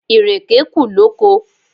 Ìrèké kù lóko.